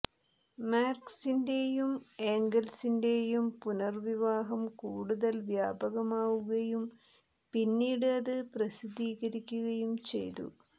മാർക്സിന്റെയും എംഗൽസിന്റെയും പുനർവിവാഹം കൂടുതൽ വ്യാപകമാവുകയും പിന്നീട് അത് പ്രസിദ്ധീകരിക്കുകയും ചെയ്തു